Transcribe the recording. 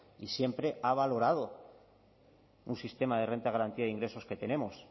y siempre ha valorado un sistema de renta de garantía de ingresos que tenemos